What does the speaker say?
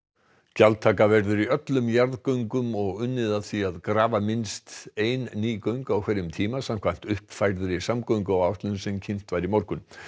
gjaldtaka verður í öllum jarðgöngum og unnið að því að grafa minnst ein ný göng á hverjum tíma samkvæmt uppfærðri samgönguáætlun sem kynnt var í morgun